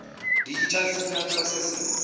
digital signal processing